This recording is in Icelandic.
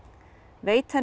veit henni